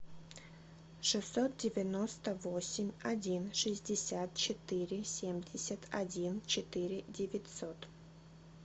шестьсот девяносто восемь один шестьдесят четыре семьдесят один четыре девятьсот